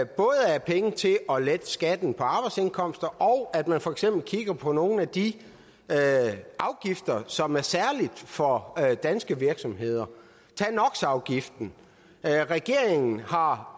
er penge til at lette skatten på arbejdsindkomster og at man for eksempel kigger på nogle af de afgifter som er særlige for danske virksomheder tag nox afgiften regeringen har